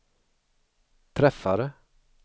träffade